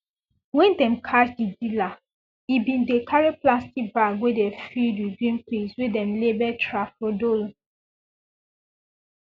wen dem catch di dealer e bin dey carry plastic bag wey dey filled with green pills wey dem label tafrodol